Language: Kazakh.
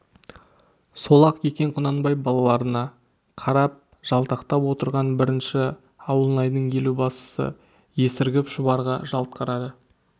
сол-ақ екен құнанбай балаларына қарап жалтақтап отырған бірінші ауылнайдың елубасысы есіргеп шұбарға жалт қарады